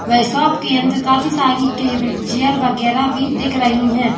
Shop के अंदर काफी सारी टेबल चेयर वगैरा भी दिख रही है।